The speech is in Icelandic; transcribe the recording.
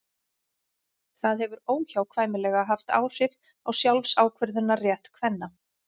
það hefur óhjákvæmilega haft áhrif á sjálfsákvörðunarrétt kvenna